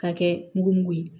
K'a kɛ mugumugu ye